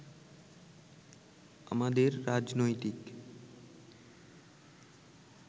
আমাদের রাজনৈতিক